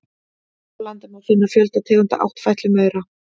Hér á landi má finna fjölda tegunda áttfætlumaura.